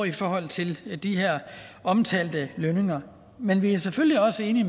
i forhold til de her omtalte lønninger men vi er selvfølgelig også enige